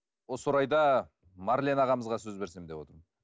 осы орайда марлен ағамызға сөз берсем деп отырмын